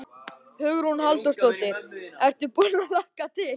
Hugrún Halldórsdóttir: Ertu búinn að hlakka til?